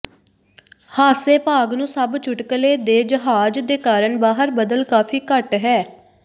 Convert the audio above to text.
ਹਾਸੇ ਭਾਗ ਨੂੰ ਸਭ ਚੁਟਕਲੇ ਦੇ ਜਹਾਜ਼ ਦੇ ਕਾਰਨ ਬਾਹਰ ਬਦਲ ਕਾਫ਼ੀ ਘੱਟ ਹੈ